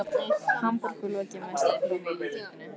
Hamborg og lokið meistaraprófi í íþróttinni.